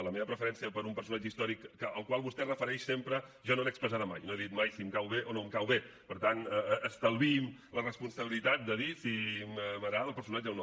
la meva preferència per un personatge històric al qual vostè es refereix sempre jo no l’he expressada mai i no he dit mai si em cau bé o no em cau bé per tant estalviï’m la responsabilitat de dir si m’agrada el personatge o no